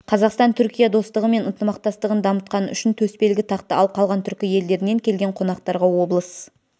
қазақстан-түркия достығы мен ынтымақтастығын дамытқаны үшін төсбелгі тақты ал қалған түркі елдерінен келген қонақтарға облыс